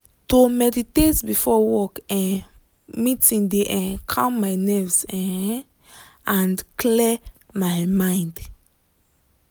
to meditate before work um meeting de um calm my nerves um and clear my mind.